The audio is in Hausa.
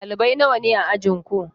Ɗalibai nawa ne a ajinku?